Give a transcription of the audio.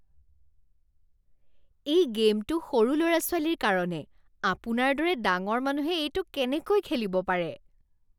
এই গে'মটো সৰু ল'ৰা ছোৱালীৰ কাৰণে। আপোনাৰ দৰে ডাঙৰ মানুহে এইটো কেনেকৈ খেলিব পাৰে?